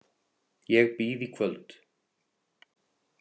Ég býð í kvöld.